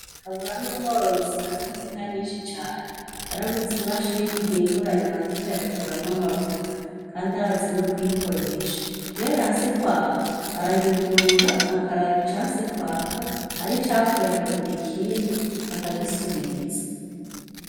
KABURA ni umworozi atunze inka nyinshi cane yaraguze imashini ihungura amata ikayakuramwo amavuta kandi arazi no kuyikoresha iyo yanse kwaka arayugurura akaraba icanse kwaka ari icapfuye akagura ikindi akagisubirizi.